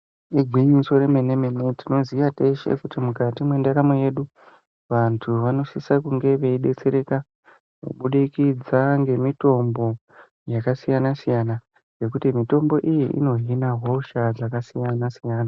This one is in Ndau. Igwinyiso remene mene tinoziya teshe kuti mukati mendaramo yedu vantu vonosise kunge veidetsereka kubudikidza ngemutombo yakasiyana siyana nekuti mitombo iyi ino hina hosha yakasiyana siyana.